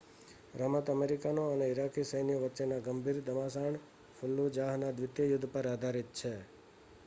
રમત અમેરિકન અને ઇરાકી સૈન્યો વચ્ચેના ગંભીર ઘમાસાણ ફલ્લુજાહના દ્વિતીય યુદ્ધ પર આધારિત છે